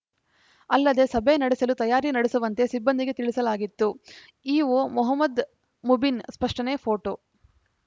ಅಲ್ಲದೆ ಸಭೆ ನಡೆಸಲು ತಯಾರಿ ನಡೆಸುವಂತೆ ಸಿಬ್ಬಂದಿಗೆ ತಿಳಿಸಲಾಗಿತ್ತು ಇಒ ಮೊಹಮದ್‌ ಮುಬಿನ್‌ ಸ್ಪಷ್ಟನೆ ಪೋಟೋ